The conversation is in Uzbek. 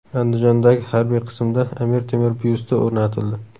Andijondagi harbiy qismda Amir Temur byusti o‘rnatildi .